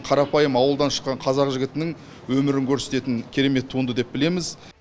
қарапайым ауылдан шыққан қазақ жігітінің өмірін көрсететін керемет туынды деп білеміз